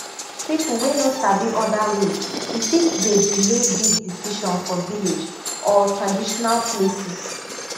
people wey no sabi other way e fit dey delay big decision for village or traditional places